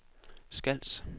Skals